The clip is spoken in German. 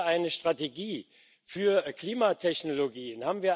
Haben wir eine Strategie für Klimatechnologien?